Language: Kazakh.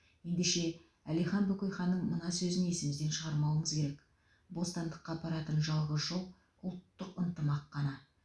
ендеше әлихан бөкейханның мына сөзін есімізден шығармауымыз керек бостандыққа апаратын жалғыз жол ұлттық ынтымақ қана